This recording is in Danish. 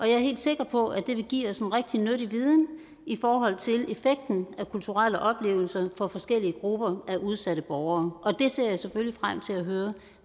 jeg er helt sikker på at det vil give os rigtig nyttig viden i forhold til effekten af kulturelle oplevelser for forskellige grupper af udsatte borgere og jeg ser selvfølgelig frem til at høre